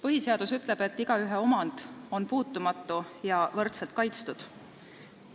Põhiseadus ütleb, et igaühe omand on puutumatu ja võrdselt kaitstud.